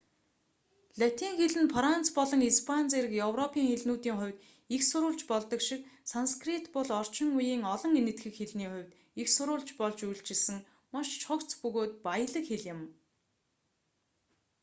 латин хэл нь франц болон испани зэрэг европын хэлнүүдийн хувьд эх сурвалж болдог шиг санскрит бол орчин үеийн олон энэтхэг хэлний хувьд эх сурвалж болж үйлчилсэн маш цогц бөгөөд баялаг хэл юм